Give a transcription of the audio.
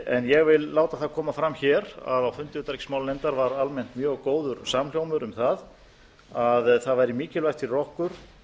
ég vil láta það koma fram hér að á fundi utanríkismálanefndar var almennt mjög góður samhljómur um að það væri mikilvægt fyrir okkur